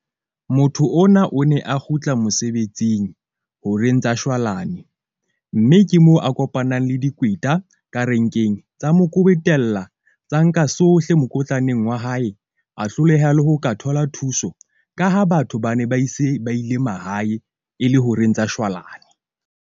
Motho ona o ne a kgutla mosebetsing horeng tsa shwalane. Mme ke mo a kopanang le dikweta ka renkeng tsa mo kwebetella tsa nka sohle mokotlaneng wa hae, a hloleha le ho ka thola thuso. Ka ha batho ba ne ba ise ba ile mahae, e le horeng tsa shwalane.